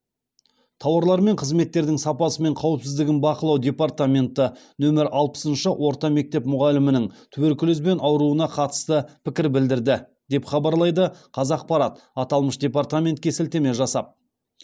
тауарлар мен қызметтердің сапасы мен қауіпсіздігін бақылау департаменті нөмір алпысыншы орта мектеп мұғалімінің туберкулезбен ауыруына қатысты пікір білдірді деп хабарлайды қазақпарат аталмыш департаментке сілтеме жасап